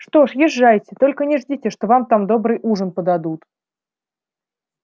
что ж езжайте только не ждите что вам там добрый ужин подадут